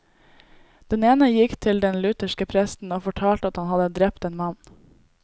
Den ene gikk til den lutherske presten og fortalte at han hadde drept en mann.